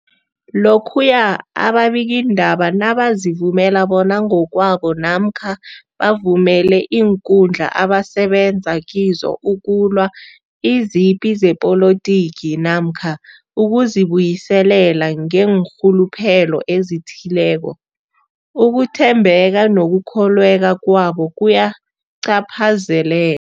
Lokhuya ababikiindaba nabazivumela bona ngokwabo namkha bavumele iinkundla abasebenza kizo ukulwa izipi zepolitiki namkha ukuzi buyiselela ngeenrhuluphelo ezithileko, ukuthembeka nokukholweka kwabo kuyacaphazele